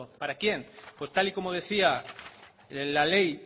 para quién pues tal y como decía la ley